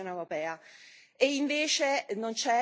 Invece, non c'è niente di concreto.